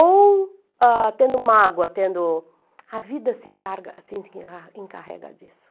Ou ah, tendo mágoa, tendo... A vida se encarga, se encarrega disso.